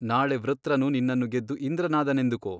ನಾಳೆ ವೃತ್ರನು ನಿನ್ನನ್ನು ಗೆದ್ದು ಇಂದ್ರನಾದನೆಂದುಕೊ.